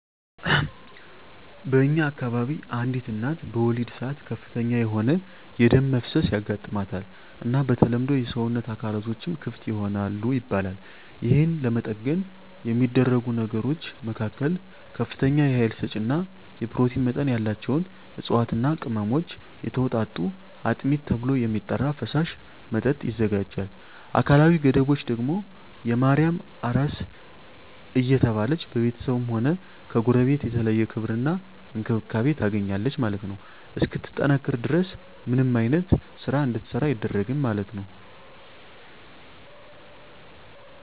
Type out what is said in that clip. በእኛ አከባቢ አንዲት እናት በወሊድ ሰአት ከፍተኛ የሆነ የደም መፍሰስ ያጋማታል እና በተለምዶ የሰወነት አካላትቶችም ክፍት ይሆናል ይባላል የህን ለመጠገን የሚደረጉ ነገሮች መካከል ከፍተኛ የሀይል ሰጪ እና የኘሮቲን መጠን ያላቸውን እፅዋትና ቅመሞች የተወጣጡ አጥሚት ተብሎ የሚጠራራ ፈሳሽ መጠጥ ይዘጋጃል አካላዊ ገደቦች ደግም የማርያም አራስ እየተባለች በቤተስብም ሆነ ከጎረቤት የተለየ ክብር እና እንክብካቤ ታገኛለች ማለት ነው እስክትጠነክር ድረስ ምንም አይነት ስራ እንድትሰራ አይደረግም ማለት ነው።